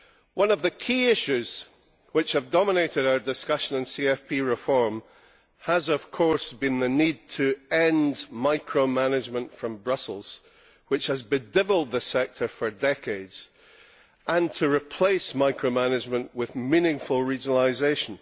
One of the key issues which have dominated our discussion on CFP reform has, of course, been the need to end micro management from Brussels, which has bedevilled the sector for decades, and replace micro management with meaningful regionalisation.